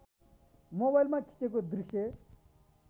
मोबाइलमा खिचेको दृश्य